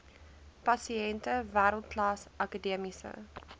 pasiënte wêreldklas akademiese